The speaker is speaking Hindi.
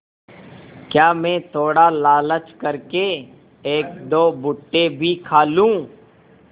क्या मैं थोड़ा लालच कर के एकदो भुट्टे भी खा लूँ